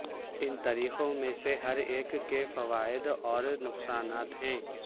ان طریقوں میں سے ہر ایک کے فوائد اور نقصانات ہیں